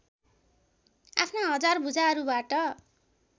आफ्ना हजार भुजाहरूबाट